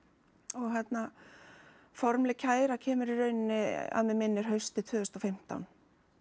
og hérna formlega kæra kemur í rauninni að mig minnir haustið tvö þúsund og fimmtán